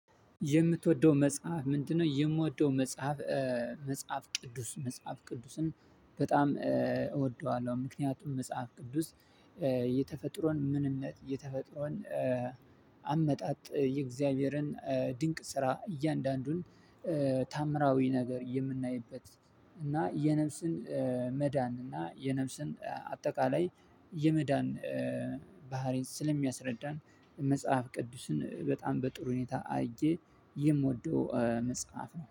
የምትወደው መጽሐፍ ምንድነው? የምወደው መጽሐፍ መጽሐፍ ቅዱስ መጽሐፍ ቅዱስን በጣም እወደዋለሁ። ምክንያቱም መጽሐፍ ቅዱስ። የተፈጥሮን ምንነት የተፈጥሮን አመጣጥ የእግዚአብሔርን ድንቅ ስራ እያንዳንዱን ተአምራዊ ነገር የምናይበት እና የነፍስን መዳን እና የነፍስን አጠቃላይ የመዳን ባህሪን ስለሚያስረዳን መጽሐፍ ቅዱስን በጣም በጥሩ ሁኔታ አርጌ የምወደው መጽሐፍ ነው